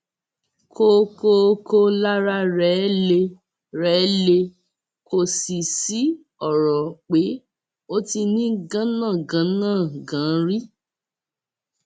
kọkọọkọ lára rẹ le rẹ le kò sì sí ọrọ pé ó ti ní ganangànángàn rí